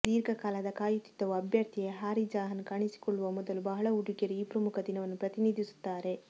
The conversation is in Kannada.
ದೀರ್ಘಕಾಲದ ಕಾಯುತ್ತಿದ್ದವು ಅಭ್ಯರ್ಥಿ ಹಾರಿಜಾನ್ ಕಾಣಿಸಿಕೊಳ್ಳುವ ಮೊದಲು ಬಹಳ ಹುಡುಗಿಯರು ಈ ಪ್ರಮುಖ ದಿನವನ್ನು ಪ್ರತಿನಿಧಿಸುತ್ತಾರೆ